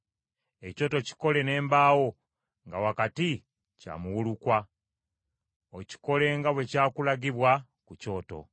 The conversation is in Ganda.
Ekyoto kikole n’embaawo, nga wakati kya muwulukwa. Okikole nga bwe kyakulagibwa ku lusozi.